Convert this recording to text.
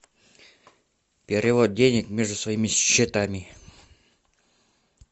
перевод денег между своими счетами